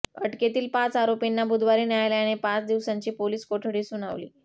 अटकेतील पाच आरोपींना बुधवारी न्यायलयाने पाच दिवसांची पोलिस कोठडी सुनावली